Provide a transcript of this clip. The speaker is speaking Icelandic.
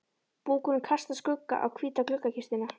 Búkurinn kastar skugga á hvíta gluggakistuna.